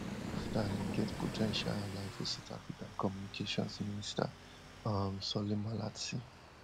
mr musk starlink get po ten tial ally for south africa communications minister um solly malatsi